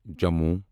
Jammu